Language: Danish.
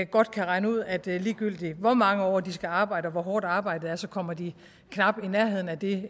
godt kan regne ud at ligegyldig hvor mange år de skal arbejde og hvor hårdt arbejdet er så kommer de knap i nærheden af det